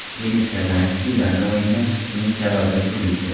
Denis Kazanskiy: Ularning o‘yindan chiqishining sababi turlicha.